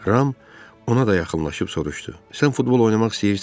Ram ona da yaxınlaşıb soruşdu: Sən futbol oynamaq istəyirsən?